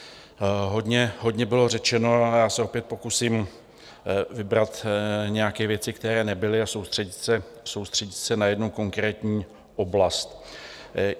Hodně bylo řečeno a já se opět pokusím vybrat nějaké věci, které nebyly, a soustředit se na jednu konkrétní oblast.